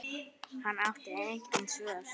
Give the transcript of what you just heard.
Hann átti engin svör.